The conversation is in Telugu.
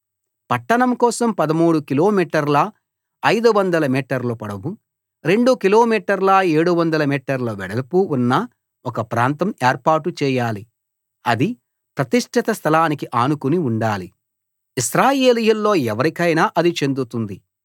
పట్టణం కోసం 13 కిలోమీటర్ల 500 మీటర్ల పొడవు 2 కిలో మీటర్ల 700 మీటర్ల వెడల్పు ఉన్న ఒక ప్రాంతం ఏర్పాటు చేయాలి అది ప్రతిష్ఠిత స్థలానికి ఆనుకుని ఉండాలి ఇశ్రాయేలీయుల్లో ఎవరికైనా అది చెందుతుంది